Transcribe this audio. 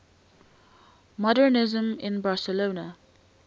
modernisme in barcelona